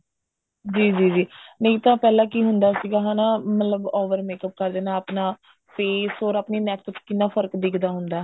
ਜੀ ਜੀ ਜੀ ਨਹੀਂ ਤਾਂ ਪਹਿਲਾ ਤਾਂ ਕਿ ਹੁੰਦਾ ਸੀਗਾ ਹਨਾ ਮਤਲਬ over makeup ਕਰ ਦੇਣਾ ਆਪਣਾ face or ਆਪਣੇ neck ਵਿੱਚ ਕਿੰਨਾ ਫਰਕ ਦਿਖਦਾ ਹੁੰਦਾ